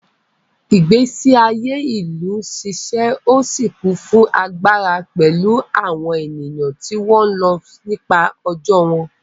Ìgbésí ayé ìlú ń ṣiṣẹ́ ó sì kún fún agbára pẹ̀lú àwọn ènìyàn tí wọ́n ń lọ nípa ọjọ́ wọn.